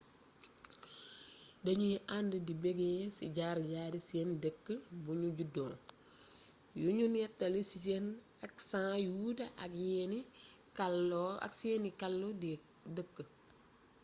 dañuy ànd di beggee ci jaar-jaari seen dëkk buñu juddoo yuñu néttali ci seen aksan yu wuute ak seeni kàlu dëkk